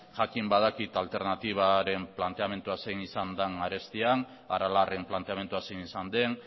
jakin badakit alternatibaren planteamendua zein izanden arestian aralarren planteamendua zein izan den